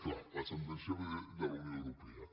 clar la sentència ve de la unió europea